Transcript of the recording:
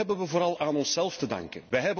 Dat hebben wij vooral aan onszelf te danken.